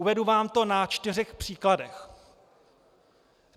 Uvedu vám to na čtyřech příkladech.